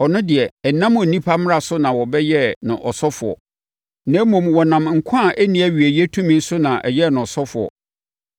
Ɔno deɛ, ɛnnam onipa mmara so na wɔhyɛɛ no ɔsɔfoɔ, na mmom wɔnam nkwa a ɛnni awieeɛ tumi so na ɛyɛɛ no ɔsɔfoɔ.